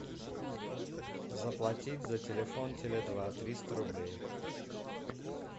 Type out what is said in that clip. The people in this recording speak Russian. заплатить за телефон теле два триста рублей